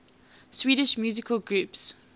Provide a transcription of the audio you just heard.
swedish musical groups